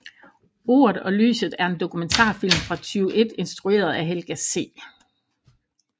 Ordet og lyset er en dokumentarfilm fra 2001 instrueret af Helga C